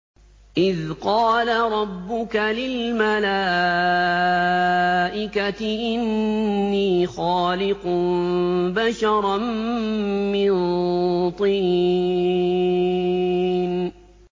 إِذْ قَالَ رَبُّكَ لِلْمَلَائِكَةِ إِنِّي خَالِقٌ بَشَرًا مِّن طِينٍ